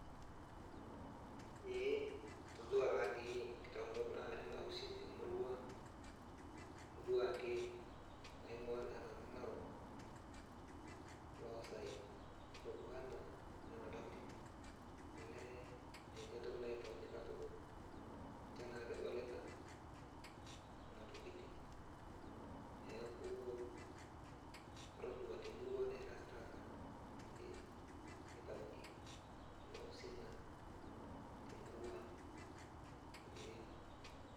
Ee, atodua tadii nkitaunot nara anausin temurua ang. Atodua ake amu aing'ua naa nanu Narok, Oloosaen. Natoduo naa nena tokiting, olee ninche entoki naitauni katukul, ninche naa kidolita, nena tokiting. Neeku, atodua temurua nairasirasa, ee nitauni nena usin naa temurua ang, ee.